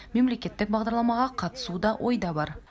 мемлекеттік бағдарламаға қатысу да ойда бар